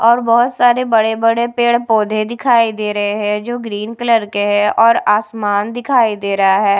और बहोत सारे बड़े-बड़े पेड़-पौधे दिखाई दे रहे हैं जो ग्रीन कलर के हैं और आसमान दिखाई दे रहा है।